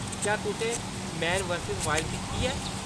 क्या तुसें man versus wild दिक्खी ऐ ?